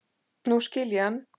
Nú skil ég hann.